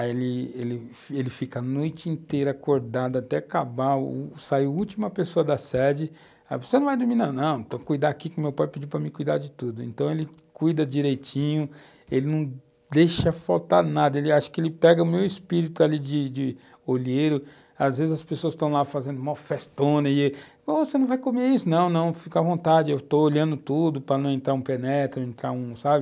aí ele ele fica a noite inteira acordado até acabar, sai a última pessoa da sede, você não vai dormir não, não, estou a cuidar aqui que o meu pai pediu para me cuidar de tudo, então ele cuida direitinho, ele não deixa faltar nada, ele acha que ele pega o meu espírito ali de de olheiro, às vezes as pessoas estão lá fazendo mó festona, você não vai comer isso não, não, fica à vontade, eu estou olhando tudo para não entrar um penetra, não entrar um sabe,